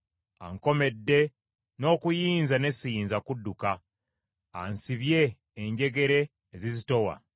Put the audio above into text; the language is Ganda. Ankomedde n’okuyinza ne siyinza kudduka, ansibye enjegere ezizitowa.